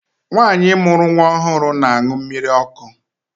Nwaanyi mụrụ nwa ọhụrụ na-aṅụ mmiri ọkụ.